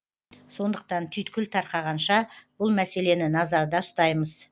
сондықтан түйткіл тарқағанша бұл мәселені назарда ұстаймыз